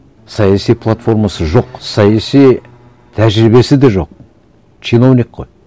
саяси платформасы жоқ саяси тәжірибесі де жоқ чиновник қой